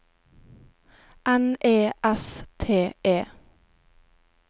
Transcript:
N E S T E